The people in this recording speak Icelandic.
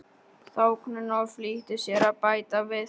þóknun og flýtti sér að bæta við